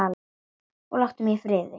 Það hvein í hurðum og gluggum.